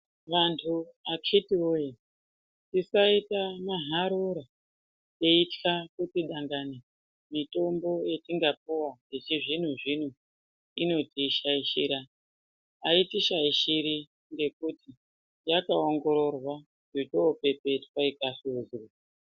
Vantu akitiwoye tisaita maharora teitya kuti dangani mitombo yatingapuwa yechizvino zvino inotishaishira, autishaishiri ngekuti yakaongororwa yochopepetwa ikasarudzwa.